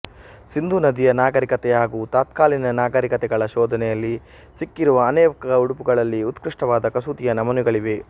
ಸಿಂಧೂನದಿಯ ನಾಗರಿಕತೆ ಹಾಗೂ ತತ್ಕಾಲೀನ ನಾಗರಿಕತೆಗಳ ಶೋಧನೆಯಲ್ಲಿ ಸಿಕ್ಕಿರುವ ಅನೇಕ ಉಡುಪುಗಳಲ್ಲಿ ಉತ್ಕೃಷ್ಟವಾದ ಕಸೂತಿಯ ನಮೂನೆಗಳಿವೆ